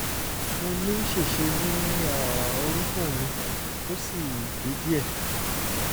mo ní ṣèṣe ní um orúnkún mi ó sì gé díẹ̀